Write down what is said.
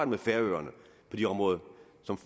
med færøerne på de områder